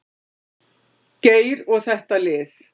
Geir og þetta lið.